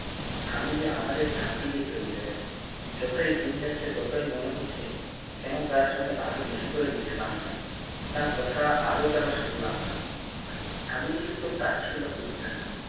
স্বামীজি আমাদের ফাঁকি দিয়ে চলে গেলেন যতই দিন যাচ্ছে ততই মনে হচ্ছে কেন তার সাথে আরও বেশি করে মিশলাম না তার কথা আরো কেন শুনলাম না স্বামীজি কিন্তু তাচ্ছিল্য করতেন না